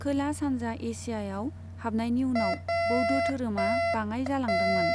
खोला सान्जा एसियाआव हाबनायनि उनाव बौद्ध दोरोमा बाङाइ जालांदोंमोन।